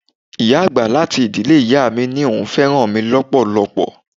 Ìyá àgbà láti ìdílé ìyá mi ní òun fẹ́ràn mi lọpọlọpọ.